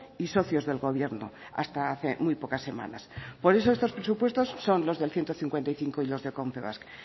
y socios del gobierno hasta hace muy pocas semanas por eso estos presupuestos son los del ciento cincuenta y cinco y los de confebask